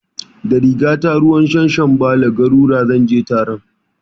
Da rigata ruwan shanshanbale (garura) zan je taron